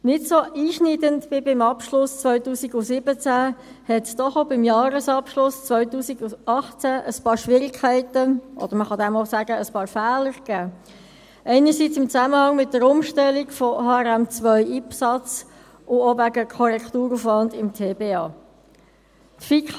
Nicht so einschneidend wie beim Abschluss 2017 gab es doch auch beim Jahresabschluss 2018 noch ein paar Schwierigkeiten oder – man kann auch sagen – ein paar Fehler – zum einen im Zusammenhang mit der Umstellung von HRM2/IPSAS und zum anderen auch wegen Korrekturaufwands im Tiefbauamt (TBA).